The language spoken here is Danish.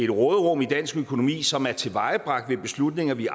råderum i dansk økonomi som er tilvejebragt ved beslutninger vi